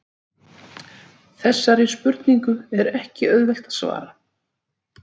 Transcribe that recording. Þessari spurningu er ekki auðvelt að svara.